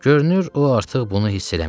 Görünür o artıq bunu hiss eləmirdi.